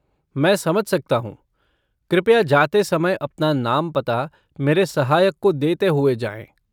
मैं समझ सकता हूँ। कृपया जाते समय अपना नाम पता मेरे सहायक को देते हुए जाएँ।